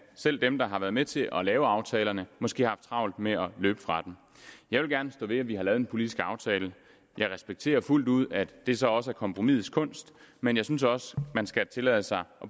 selv dem der har været med til at lave aftalerne måske har haft travlt med at løbe fra dem jeg vil gerne stå ved at vi har lavet en politisk aftale jeg respekterer fuldt ud at det så også er kompromisets kunst men jeg synes også man skal tillade sig